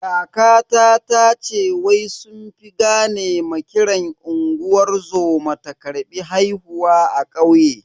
Kakata tace wai sun fi gane ma kiran unguwar zoma ta karbi haihuwa a kauye.